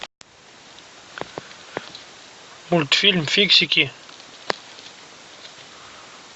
мультфильм фиксики